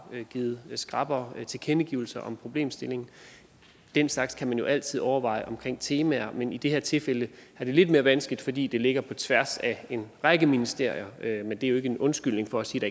givet skrappere tilkendegivelser om problemstillingen den slags kan man jo altid overveje omkring temaer men i det her tilfælde er det lidt mere vanskeligt fordi det ligger på tværs af en række ministerier men det er jo ikke en undskyldning for at sige